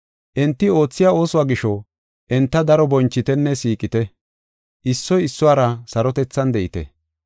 Enti oothiya oosuwa gisho, enta daro bonchitenne siiqite. Issoy issuwara sarotethan de7ite.